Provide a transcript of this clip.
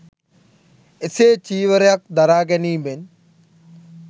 එසේ චීවරයක් දරා ගැනීමෙන්